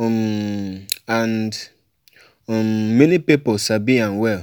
um and um many pipo sabi am well.